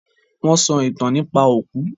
Wọ́n sọ ìtàn nípa òkú.